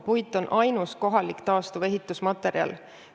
Puit on ainus kohalik taastuv ehitusmaterjal.